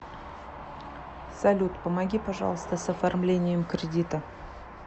салют помоги пожалуйста с оформлением кредита